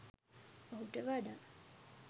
ඔහුට වඩා